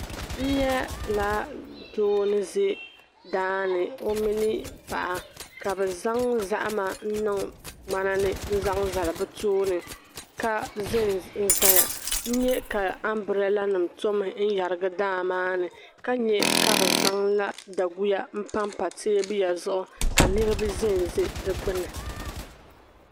N-nyɛla doo ni ze daa ni o mini paɣa ka bɛ zaŋ zahima n-niŋ ŋmanani n-zaŋ zali bɛ tooni ka ze n-zaya n-nye ka ambraaranim' tɔmi n-yarigi daa maa ni ka nye ka bɛ zaŋla daguya m-pam pa teebuya zuɣu ka niriba ze n-ze di gbuni